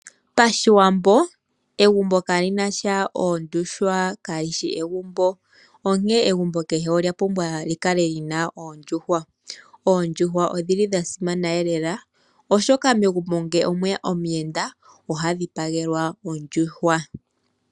Pashiwambo egumbo ka lina tya oondjuhwa kalishi egumbo. Onke egumbo keshe ola pumbwa likale lina oondjuhwa. Oondjuhwa odhili dha simana lela oshoka megumbo nge omweya omuyenda oha dhipagelwa ondjuhwa.